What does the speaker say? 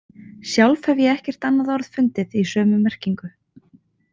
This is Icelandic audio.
Sjálf hef ég ekkert annað orð fundið í sömu merkingu.